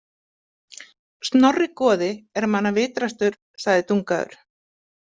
Snorri goði er manna vitrastur, segir Dungaður.